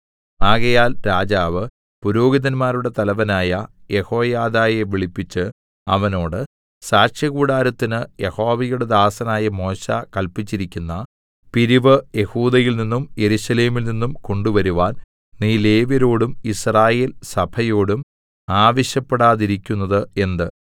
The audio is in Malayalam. ആകയാൽ രാജാവ് പുരോഹിതന്മാരുടെ തലവനായ യെഹോയാദയെ വിളിപ്പിച്ച് അവനോട് സാക്ഷ്യകൂടാരത്തിന് യഹോവയുടെ ദാസനായ മോശെ കല്പിച്ചിരിക്കുന്ന പിരിവ് യെഹൂദയിൽനിന്നും യെരൂശലേമിൽ നിന്നും കൊണ്ടുവരുവാൻ നീ ലേവ്യരോടും യിസ്രായേൽസഭയോടും ആവശ്യപ്പെടാതിരിക്കുന്നത് എന്ത്